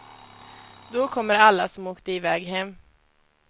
Då kommer alla som åkte iväg hem.